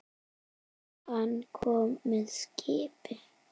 Hann kom með skipi.